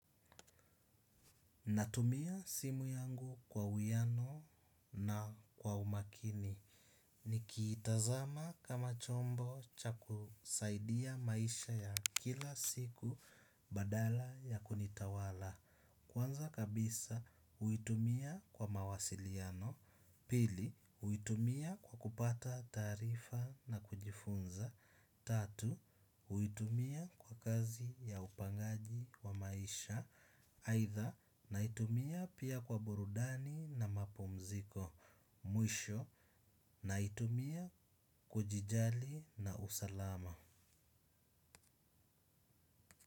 Natumia simu yangu kwa uiano na kwa umakini. Nikiitazama kama chombo cha kusaidia maisha ya kila siku badala ya kunitawala. Kwanza kabisa huitumia kwa mawasiliano. Pili huitumia kwa kupata taarifa na kujifunza. Tatu huitumia kwa kazi ya upangaji wa maisha aidha naitumia pia kwa burudani na mapumziko. Mwisho naitumia kujijali na usalama.